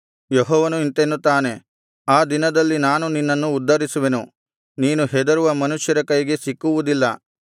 ಯೆಹೋವನು ಇಂತೆನ್ನುತ್ತಾನೆ ಆ ದಿನದಲ್ಲಿ ನಾನು ನಿನ್ನನ್ನು ಉದ್ಧರಿಸುವೆನು ನೀನು ಹೆದರುವ ಮನುಷ್ಯರ ಕೈಗೆ ಸಿಕ್ಕುವುದಿಲ್ಲ